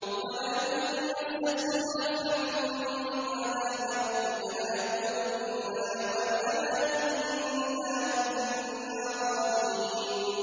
وَلَئِن مَّسَّتْهُمْ نَفْحَةٌ مِّنْ عَذَابِ رَبِّكَ لَيَقُولُنَّ يَا وَيْلَنَا إِنَّا كُنَّا ظَالِمِينَ